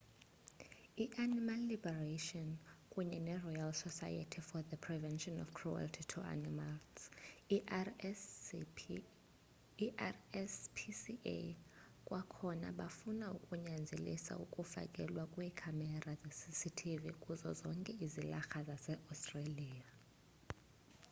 i-animal liberation kunye neroyal society for the prevention of cruelty to animals i-rspca kwakhona bafuna ukunyanzelisa ukufakelwa kweekhamera zecctv kuzo zonke izilarha zaseaustralia